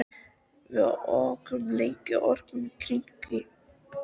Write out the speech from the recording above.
Við ókum lengi og ókum í hringi.